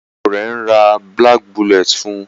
Ìyàwó rẹ ń rà black bullet fun.